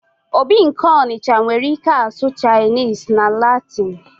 obi nke Onitsha nwere ike asụ Chinese na Latin